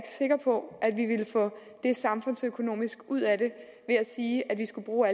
sikker på at vi ville få samfundsøkonomisk mest ud af at sige at vi skulle bruge